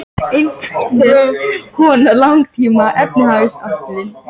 Í hlutfalli við líkamsstærð er heili skíðishvala minni en heili flestra tannhvala.